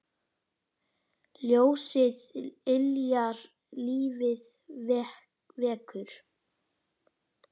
Ljósið yljar lífið vekur.